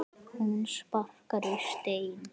Hún sparkar í stein.